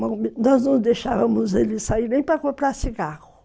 Nós não deixávamos ele sair nem para comprar cigarro.